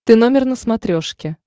ты номер на смотрешке